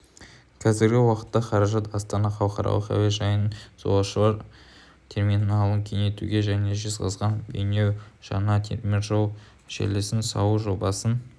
қазіргі уақытта қаражат астана халықаралық әуежайының жолаушылар терминалын кеңейтуге және жезқазған-бейнеу жаңа теміржол желісін салу жобасын